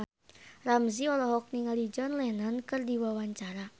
Ramzy olohok ningali John Lennon keur diwawancara